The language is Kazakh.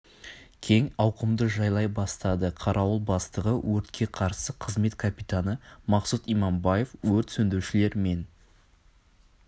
кең ауқымды жайлай бастады қарауыл бастығы өртке қарсы қызмет капитаны мақсұт иманбаев өрт сөндірушілер мен